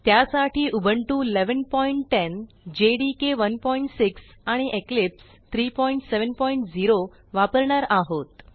त्यासाठी Ubuntu 1110 JDK 16 आणि Eclipse 370 वापरणार आहोत